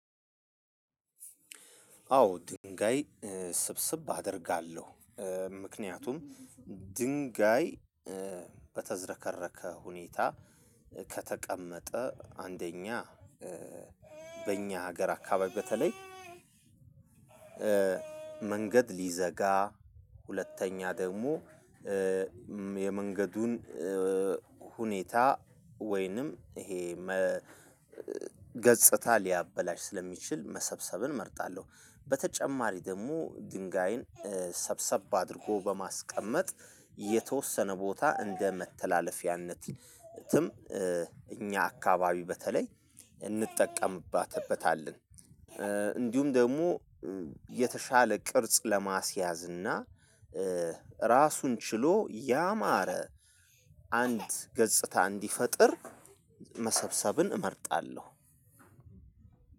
አዎ ድንጋይ ስብስብ አደርጋለሁ። ምክንያቱም ድንጋይ በተዘረከረከ ሁኔታ ከተቀመጠ አንደኛ በእኛ ሀገር አካባቢ በተለይ መንገድ ሊዘጋ ሁለተኛ ደግሞ የመንገዱን ሁኔታ ወይንም ይሄ ገጽታ ሊያበላሽ ስለሚችል መሰብሰብን እመርጣለሁ። በተጨማሪ ደግሞ ድንጋይን ሰብሰብ አድርጎ በማስቀመጥ የተወሰነ ቦታ እንደ መተላለፊያነትም እኛ አካባቢ በተለይ እንጠቀምበታለን። እንዲሁም ደግሞ የተሻለ ቅርጽ ለማስያዝ እና ራሱን ችሎ ያማረ አንድ ገጽታ እንዲፈጥር መሰብሰብን እመርጣለሁ።